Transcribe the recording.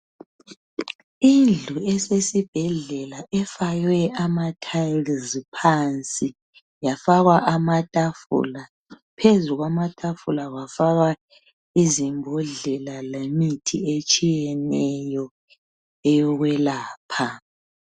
Indlu esesibhedlela efakwe amathayilizi phansi yafakwa amathafula phezu kwamatafula kwafakwa izimbodlela lemithi etshiyeneyo eyokwelapha.